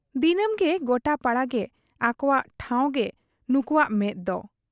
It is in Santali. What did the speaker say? ᱫᱤᱱᱟᱹᱢᱜᱮ ᱜᱚᱴᱟᱯᱟᱲᱟ ᱜᱮ ᱟᱵᱚᱠᱚᱣᱟᱜ ᱴᱷᱟᱶᱨᱮᱜᱮ ᱱᱩᱠᱩᱣᱟᱜ ᱢᱮᱫ ᱫᱚ ᱾